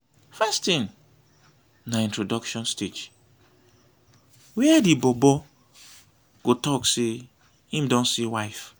first tin na introduction stage wia di bobo go tok say em don see wife